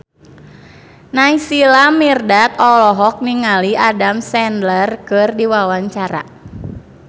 Naysila Mirdad olohok ningali Adam Sandler keur diwawancara